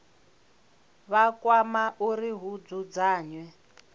vha kwama uri hu dzudzanywe